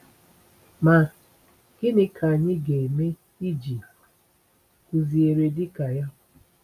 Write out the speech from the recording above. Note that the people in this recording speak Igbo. Ma, gịnị ka anyị ga-eme iji kụziere dịka ya?